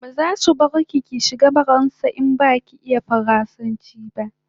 Bazasu bar ki ki shiga faransa ba in baki iya faransanchi